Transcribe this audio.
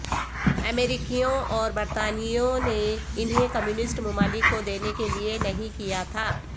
امریکیوں اور برطانویوں نے انہیں کمیونسٹ ممالک کو دینے کے لئے نہیں کیا تھا